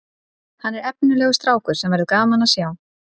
Hann er efnilegur strákur sem verður gaman að sjá